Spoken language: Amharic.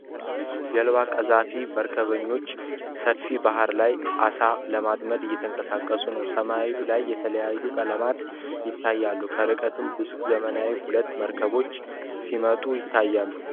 ጀልባ ቀዛፊ መርከበኞች ሰፊ ባህር ላይ አሳ ለማጥምድ እየተንቀሳቀሱ ነው፡፡ ሰማዩ ላይ የተለያዩ ቀለማቶች ይታያሉ፡፡ ከርቀት ግዙፍ ዘመናዊ ሁለት መርከቦች ሲመጡ ይታያሉ፡፡